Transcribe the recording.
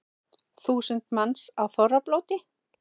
Þúsund manns á þorrablóti